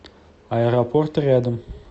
аэропорт рядом